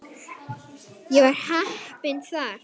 Ég var heppinn þar.